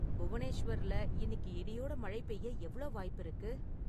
புவனேஸ்வர்ல் இன்னிக்கு இடியோட மழை பெய்ய எவ்ளோ வாய்ப்பிருக்கு